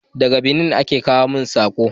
Daga Benin aka kawo mun sako